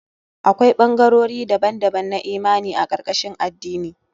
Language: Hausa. Akwai ɓangarori daban-daban na imani a karkashin addini.